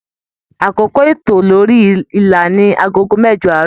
Àkókò ito lórí ìlà ní agogo mẹjọ aarọ.